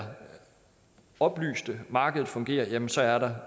oplyst så markedet fungerer jamen så er der